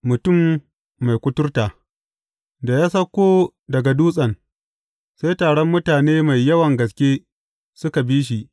Mutum mai kuturta Da ya sauko daga dutsen, sai taron mutane mai yawan gaske suka bi shi.